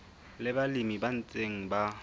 le balemi ba ntseng ba